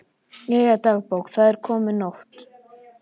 Jæja, dagbók, það er komin nótt.